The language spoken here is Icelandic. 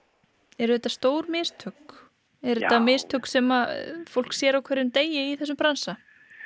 eru þetta stór mistök eru þetta mistök sem fólk sér á hverjum degi í þessum bransa